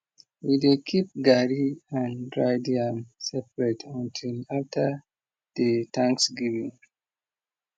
we dey keep garri and dried yam separate until after di thanksgiving